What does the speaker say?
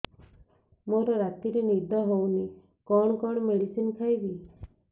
ମୋର ରାତିରେ ନିଦ ହଉନି କଣ କଣ ମେଡିସିନ ଖାଇବି